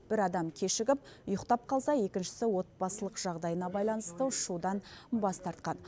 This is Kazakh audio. бір адам кешігіп ұйықтап қалса екіншісі отбасылық жағдайына байланысты ұшудан бас тартқан